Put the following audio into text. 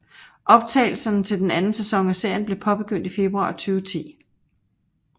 Optagelserne til den anden sæson af serien blev påbegyndt i februar 2010